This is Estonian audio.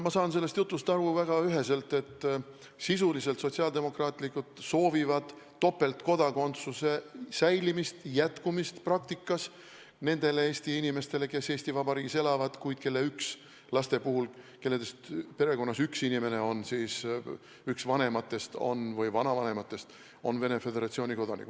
Ma saan sellest jutust väga üheselt aru nii, et sisuliselt sotsiaaldemokraadid soovivad topeltkodakondsuse säilimist nende Eesti inimeste puhul, kes elavad küll Eesti Vabariigis, kuid kelle perekonnas – laste puhul – üks inimene, üks vanematest või vanavanematest, on Venemaa Föderatsiooni kodanik.